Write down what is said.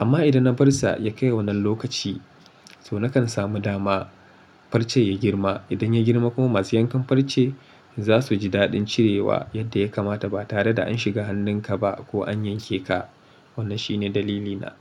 Amma idan na bar sa ya kai wannan lokaci to nakan samu dama farce ya girma. Idan ya girma kuma masu yankan farce zasu ji daɗin cirewa yadda ya kamata ba tare da an shiga hannun ka ba ko an yanke ka. Wannan shine dalilina.